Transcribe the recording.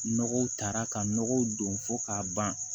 Nɔgɔw taara ka nɔgɔw don fo k'a ban